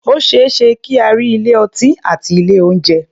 O ṣé é ṣe kí a rí ilé-ọtí àti ilé-oúnjẹ.